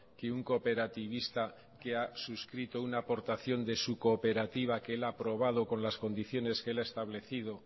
que un cooperativista que ha suscrito una aportación de su cooperativa que él ha aprobado con las condiciones que él ha establecido